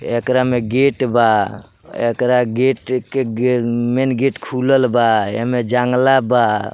एकरा मे गेट बा | एकरा गेट क मम्म मेन गेट खुलल बा | एमे जांगला बा।